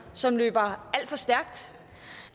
som løber alt for stærkt